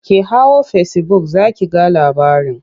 Ki hau fesibuk za ki ga labarin.